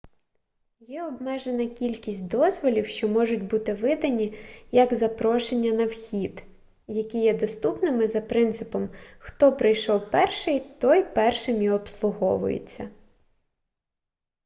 є обмежена кількість дозволів що можуть бути видані як запрошення на вхід які є доступними за принципом хто прийшов першим той першим і обслуговується